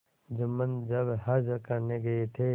जुम्मन जब हज करने गये थे